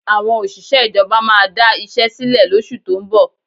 Àwọn òṣìṣẹ́ ìjọba máa da iṣẹ́ sílẹ̀ lóṣù tó ń bọ̀